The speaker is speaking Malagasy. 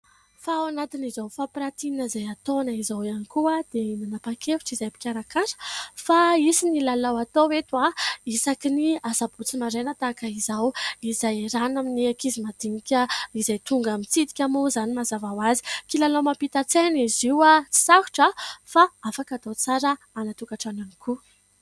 Fa ao anatin' izao fampiratiana izay ataonay izao ihany koa dia nanapa-kevitra izahay mpikarakara, fa hisy ny lalao atao eto isaky ny sabotsy maraina tahaka izao izay iarahana amin'ny ankizy madinika, izay tonga mitsidika moa izany mazava ho azy ; kilalao mampita-tsaina izy io, sarotra a ! Fa afaka hatao tsara any an-tokantrano ihany koa.